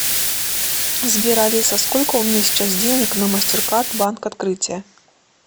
сбер алиса сколько у меня сейчас денег на мастеркард банк открытие